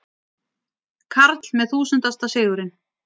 Karl með þúsundasta sigurinn